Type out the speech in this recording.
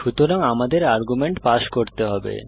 সুতরাং আমাদের argument pass করতে হবে